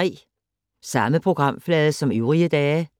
Samme programflade som øvrige dage